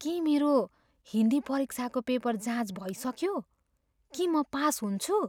के मेरो हिन्दी परीक्षाको पेपर जाँच भइसक्यो? के म पास हुन्छु?